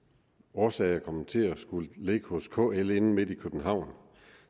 årsager kommet til at skulle ligge hos kl inde midt i københavn